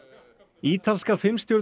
ítalska